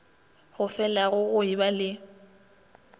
go felago go eba le